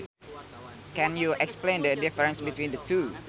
Can you explain the difference between the two